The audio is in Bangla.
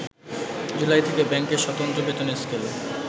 জুলাই থেকে ব্যাংকের স্বতন্ত্র বেতন স্কেল